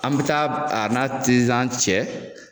An bi taa a n'a tizan cɛ.